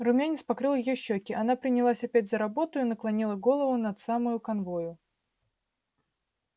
румянец покрыл её щеки она принялась опять за работу и наклонила голову над самой канвою